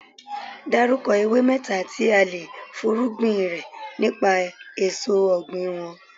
Dárúkọ ewé mẹ́ta tí a le fúnrúgbìn rẹ nípa èso ọ̀gbìn wọn.